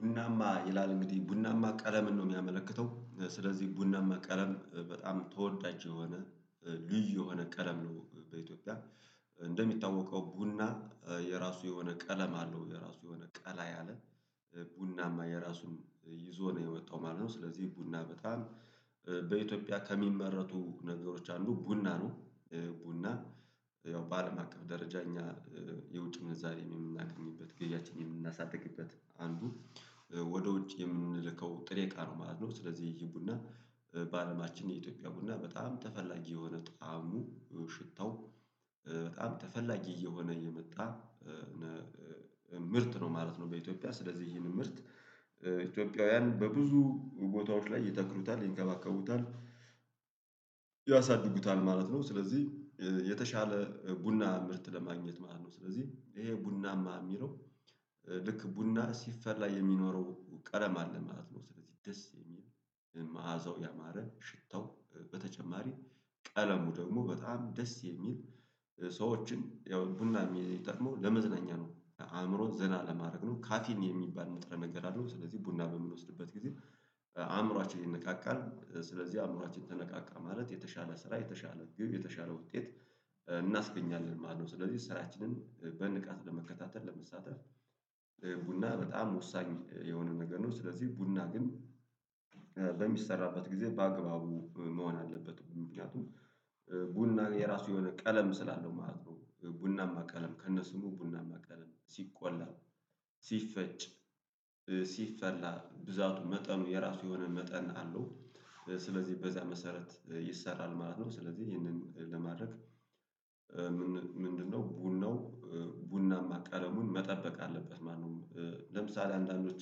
ቡናማ ይላል እንግዲህ ቡናማ ቀለምን ነው የሚያመለክተው ስለዚህ ቡናማ ቀለም በጣም ተወዳጅ የሆነ ልዩ የሆነ ቀለም ነው። በኢትዮጵያ እንደሚታወቀው ቡና የራሱ የሆነ ቀለም አለው የራሱ የሆነ ቀላ ያለ ቡናማ የራሱም ይዞ ነው የወጣው ማለት ነው። ስለዚህ ቡና በጣም በኢትዮጵያ ከሚመረቱ ነገሮች አንዱ ቡና ነው። ቡና ያው በአለም አቀፍ ደረጃ እኛ የውጭ ምንዛሬን የምናገኝበት ገብያችንን የምናሳድግበት አንዱ ወደ ውጭ የምንልከው ጥሬ እቃ ነው ማለት ነው። ስለዚህ ይሄ ቡና በአለማችን የኢትዮጵያ ቡና በጣም ተፈላጊ የሆነ ጣዕሙ ሽታው በጣም ተፈላጊ እየሆነ የመጣ ምርት ነው ማለት ነው። በኢትዮጵያ ስለዚህ ይሄንን ምርት ኢትዮጵያውያን በብዙ ቦታዎች ላይ ይተክሉታል ይንከባከቡታል ያሳድጉታል ማለት ነው። ስለዚህ የተሻለ ቡና ምርት ለማግኘት ማለት ነው ስለዚህ ይሄ ቡናማ የሚለው ልክ ቡና ሲፈላ የሚኖረው ቀለም አለ ማለት ነው። ስለዚህ ደስ የሚል መዓዛው ያማረ ሽታው በተጨማሪ ቀለሙ ደግሞ በጣም ደስ የሚል ሰዎችን ያው ቡና ሚጠቅመው ለመዝናኛ ነው። አእምሮን ዘና ለማድረግ ነው ካፌን የሚባል ንጥረ ነገር አለው ስለዚህ ቡና በምንወስድበት ጊዜ አእምሯችን ይነቃቃል። ስለዚህ አእምሯችን ተነቃቃ ማለት የተሻለ ስራ የተሻለ ግብ የተሻለ ውጤት እናስገኛለን ማለት ነው። ስለዚህ ስራችንን በንቃት ለመከታተል ለመሳተፍ ቡና በጣም ወሳኝ የሆነ ነገር ነው። ስለዚህ ቡና ግን በሚሰራበት ጊዜ በአግባቡ መሆን አለበት ምክንያቱም ቡና የራሱ የሆነ ቀለም ስላለው ማለት ነው። ቡናማ ቀለም ከነስሙ ቡናማ ቀለም ሲቆላ ሲፈጭ ሲፈላ ብዛቱ መጠኑ የራሱ የሆነ መጠን አለው ስለዚህ በዚያ መሰረት ይሰራል ማለት ነው። ስለዚህ ይህንን ለማድረግ ምንድነው ቡናው ቡናማ ቀለሙን መጠበቅ አለበት ማለነው? ለምሳሌ አንዳንዶች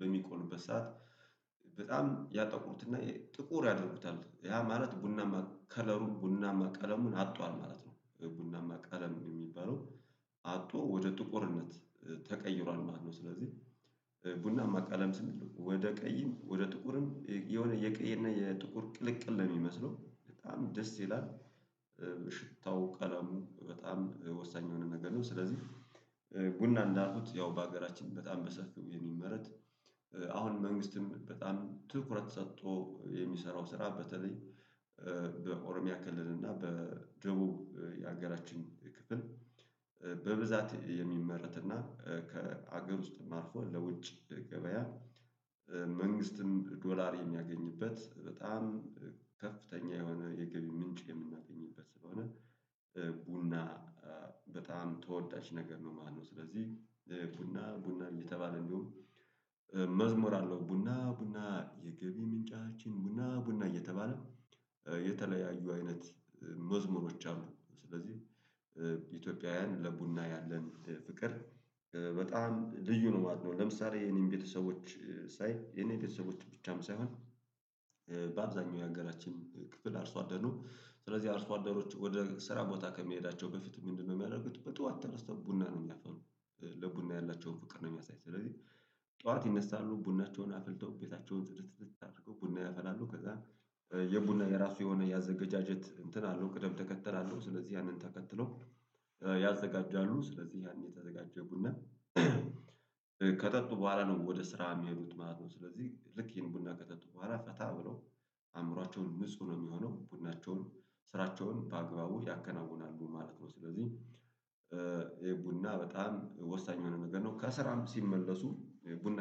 በሚቆሉበት ሰዓት በጣም ያጠቁትና ጥቁር ያደርጉታል ያ ማለት ቡና ከለሩ ቡና ቀለሙን አጥቷል ማለት ነው። ቡና ቀለም የሚባለው አጥቶ ወደ ጥቁርነት ተቀይሯል ማለት ነው። ስለዚህ ቡናማ ቀለም ስንል ወደ ቀይም ወደ ጥቁርም የሆነ የቀይና የጥቁር ቅልቅል ነው የሚመስለው በጣም ደስ ይላል። ሽታው ቀለሙ በጣም ወሳኝ የሆነ ነገር ነው። ስለዚህ ቡና እንዳሉት ያው በሀገራችን በጣም በሰፊው የሚመረት አሁን መንግስትም በጣም ትኩረት ሰጥቶ የሚሰራው ስራ በተለይ በኦሮሚያ ክልል እና በደቡብ ያገራችን ክፍል በብዛት የሚመረት እና ከሀገር ውስጥም አልፎ ለውጭ ገበያ። መንግስትም ዶላር የሚያገኝበት በጣም ከፍተኛ የሆነ የገቢ ምንጭ የምናገኝበት ስለሆነ ቡና በጣም ተወዳጅ ነገር ነው። ማነው? ስለዚህ ቡና ቡና እየተባለ እንዲሁም መዝሙር አለው። ቡና ቡና የገቢ ምንጫችን ቡና ቡና እየተባለ የተለያዩ አይነት መዝሙሮች አሉ። ስለዚህ ኢትዮጵያውያን ለቡና ያለን ፍቅር በጣም ልዩ ነው ማለት ነው። ለምሳሌ የኔን ቤተሰቦች ሳይ የኔን ቤተሰቦች ብቻም ሳይሆን በአብዛኛው የሀገራችን ክፍል አርሶ አደኑ ስለዚህ አርሶ አደሮች ወደ ስራ ቦታ ከሚሄዳቸው በፊት ምንድነው የሚያደርጉት? በጧት ተነስተው ቡና ነው የሚያፈሉ። ለቡና ያላቸውን ፍቅር ነው የሚያሳይ ስለዚህ። ጧት ይነሳሉ ቡናቸውን አፍልተው ቤታቸውን ጽድት ጽድት አድርገው ቡና ያፈላሉ ከዛ የቡና የራሱ የሆነ ያዘገጃጀት እንትን አለው ቅደም ተከተል አለው። ስለዚህ ያንን ተከትሎ ያዘጋጃሉ ስለዚህ ያንን የተዘጋጀው ቡና ከጠጡ በኋላ ነው ወደ ስራ የሚሄዱት ማለት ነው። ስለዚህ ልክ ይሄን ቡና ከጠጡ በኋላ ፈታ ብለው አእምሯቸውን ንጹህ ነው የሚሆነው ቡናቸውን ስራቸውን በአግባቡ ያከናውናሉ ማለት ነው። ስለዚህ የቡና በጣም ወሳኝ የሆነ ነገር ነው። ከስራም ሲመለሱ ቡና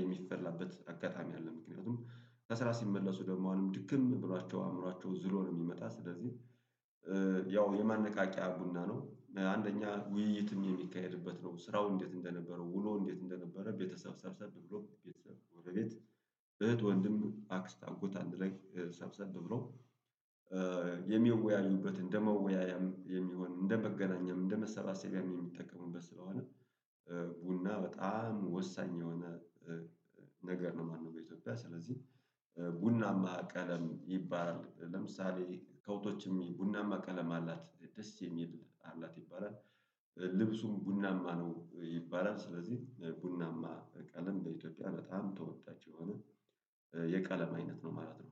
የሚፈላበት አጋጣሚ አለ ምክንያቱም ከስራ ሲመለሱ ደግሞ አሁንም ድክም ብሏቸው አእምሯቸው ዝሎ ነው የሚመጣ ስለዚህ። ያው የማነቃቂያ ቡና ነው። በአንደኛ ውይይትም የሚካሄድበት ነው። ስራው እንዴት እንደነበረው ውሎ እንዴት? እንደነበረ ቤተሰብ ሰብሰብ ብሎ ቤተሰብ ወደ ቤት እህት ወንድም አክስት አጎት አንድ ላይ ሰብሰብ ብሎ የሚወያዩበት እንደመወያያም የሚሆን እንደመገናኛም እንደ መሰባሰቢያም የሚጠቀሙበት ስለሆነ። ቡና በጣም ወሳኝ የሆነ ነገር ነው የማለነው። በኢትዮጵያ ስለዚህ ቡናማ ቀለም ይባላል ለምሳሌ ከውቶችም ቡናማ ቀለም አላት ደስ የሚል አላት ይባላል ልብሱም ቡናማ ነው ይባላል። ስለዚህ ቡናማ ቀለም በኢትዮጵያ በጣም ተወዳጅ የሆነ የቀለም አይነት ነው ማለት ነው